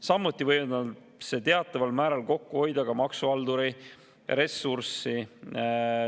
Samuti võib see teataval määral kokku hoida ka maksuhalduri ressurssi.